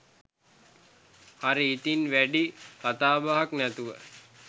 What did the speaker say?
හරි ඉතින් වැඩි කතාබහක් නැතුව